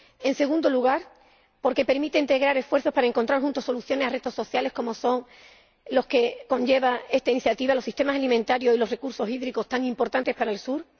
En segundo lugar, porque permite integrar esfuerzos para encontrar juntos soluciones a retos sociales como son los que conlleva esta iniciativa los sistemas alimentarios y los recursos hídricos, tan importantes para el Sur.